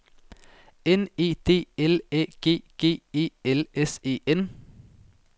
N E D L Æ G G E L S E N